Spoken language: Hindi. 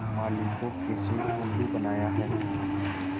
माली को कैसे उल्लू बनाया है